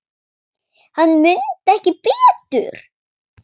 Hann mundi ekki betur!